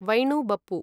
वैणु बप्पु